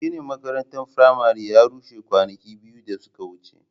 Ginin makarantar firamare ya rushe kwanaki biyu da suka wuce.